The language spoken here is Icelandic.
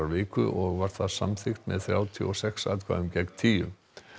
viku og var það samþykkt með þrjátíu og sex atkvæðum gegn tíu